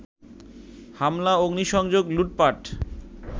হামলা, অগ্নিসংযোগ, লুটপাট